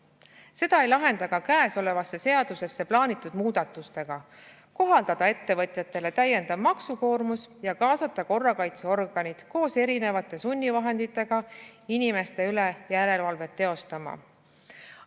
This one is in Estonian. Seda ei lahenda ka käesolevasse seadusesse plaanitud muudatustega kohaldada ettevõtjatele täiendav maksukoormus ja kaasata korrakaitseorganid koos erinevate sunnivahenditega inimeste üle järelevalvet teostama.